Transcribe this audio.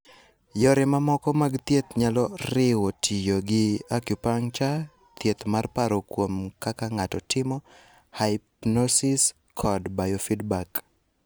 Yore mamoko mag thieth nyalo riwo tiyo gi acupuncture, thieth mar paro kuom kaka ng'ato timo, hypnosis, kod biofeedback.